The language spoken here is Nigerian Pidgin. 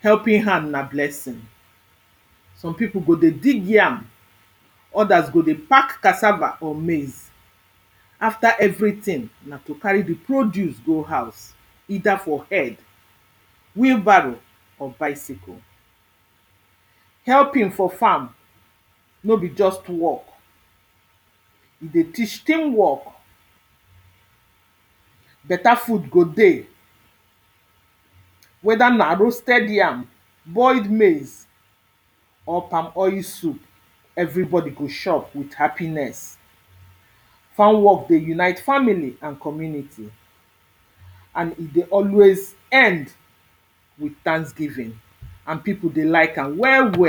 helping hand na blessing some pipo go dey dig yam others go dey pack cassava or maize after everything, na to carry the produce go house either for head wheel barrow or bicycle helping for farn no be just work e dey teach team work beta food go dey whether na roasted yam boiled maize or palmoil soup everybody go chop with happiness farm work dey unite family and community and e dey always end with thanksgiving and pipo dey like am well well